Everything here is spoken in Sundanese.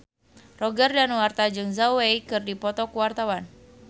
Roger Danuarta jeung Zhao Wei keur dipoto ku wartawan